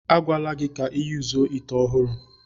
A gwala gi ka i yuzuo ite ohuru.